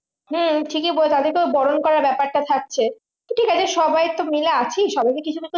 হম ঠিকই বটে তাদেরকে বরন করা ব্যাপারটা থাকছে ঠিক আছে সবাই তো মাইল আছি সবাইকে কিছু না কিছু